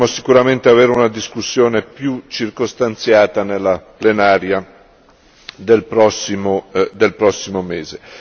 Potremo sicuramente avere una discussione più circostanziata nella plenaria del prossimo mese.